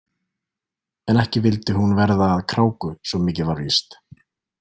En ekki vildi hún verða að kráku, svo mikið var víst.